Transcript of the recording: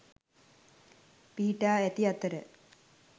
පිහිටා ඇති අතර